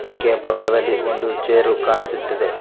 ಈಕೆಯ ಪಕ್ಕದಲ್ಲಿ ಒಂದು ಚೇರು ಕಾಣಿಸುತ್ತಿದೆ.